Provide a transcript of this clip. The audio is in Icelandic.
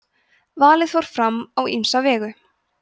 valið fór fram á ýmsa vegu